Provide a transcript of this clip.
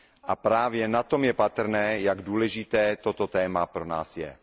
A právě na tom je patrné, jak důležité toto téma pro nás je.